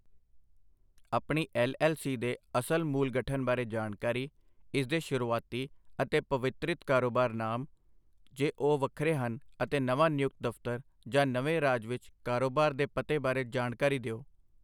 ਆਪਣੀ ਐੱਲਐੱਲਸੀ ਦੇ ਅਸਲ ਮੂਲ ਗਠਨ ਬਾਰੇ ਜਾਣਕਾਰੀ, ਇਸ ਦੇ ਸ਼ੁਰੂਆਤੀ ਅਤੇ ਪਰਿਵਰਤਿਤ ਕਾਰੋਬਾਰੀ ਨਾਮ, ਜੇ ਉਹ ਵੱਖਰੇ ਹਨ ਅਤੇ ਨਵਾਂ ਨਿਯੁਕਤ ਦਫ਼ਤਰ, ਜਾਂ ਨਵੇਂ ਰਾਜ ਵਿੱਚ ਕਾਰੋਬਾਰ ਦੇ ਪਤੇ ਬਾਰੇ ਜਾਣਕਾਰੀ ਦਿਓ।